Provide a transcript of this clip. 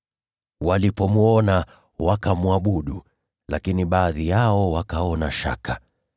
Walipomwona, wakamwabudu; lakini baadhi yao wakaona shaka.